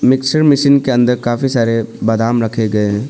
Mixer machine के अंदर काफी सारे बादाम रखे गए हैं।